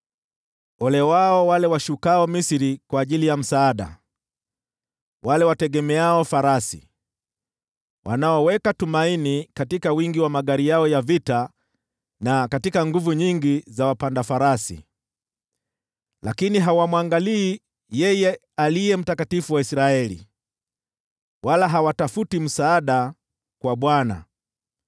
Ole wao wale washukao Misri kwa ajili ya msaada, wale wategemeao farasi, wanaoweka tumaini katika wingi wa magari yao ya vita, na katika nguvu nyingi za wapanda farasi, lakini hawamwangalii yeye Aliye Mtakatifu wa Israeli, wala hawatafuti msaada kwa Bwana .